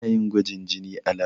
Ana yin gwajin jini a lab.